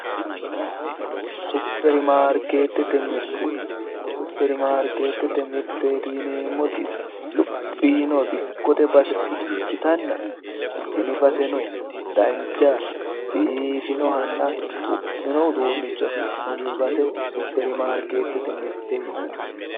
Supirmaarketete mirte, supirnaarmetete mirteti yinneemmoti luphi yiinnoha dikkote base ikkittanna tini baseno dancha biifinohanna xu'minoha afi'nanni base supirimaarketete yinneemmo